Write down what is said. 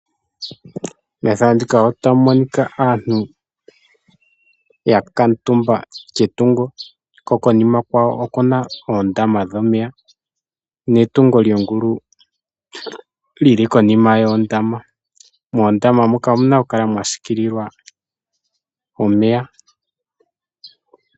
Ethano ndika otamu monika aantu yakamutumba ketungo konima kwayo okuna oondama dhomeya netungo lyongulu lili konima yondama. Moondama muka omuna oku kala mwa siikililwa omeya.